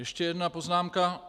Ještě jedna poznámka.